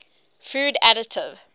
food additive